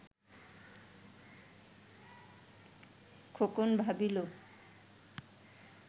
Khokon ভাবিল